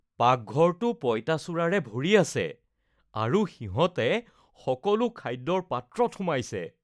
পাকঘৰটো পইতাচোৰাৰে ভৰি আছে আৰু সিহঁতে সকলো খাদ্যৰ পাত্ৰত সোমাইছে।